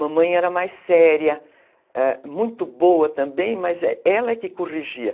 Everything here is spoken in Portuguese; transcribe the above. Mamãe era mais séria, ãh, muito boa também, mas ela é que corrigia.